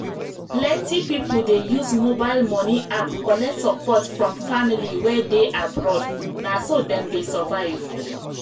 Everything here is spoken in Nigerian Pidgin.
plenty people dey use mobile money app collect support from family wey dey abroad na so dem dey survive.